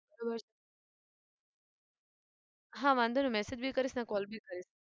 હા વાંધો નહિ massage બી કરીશ ને call બી કરીશ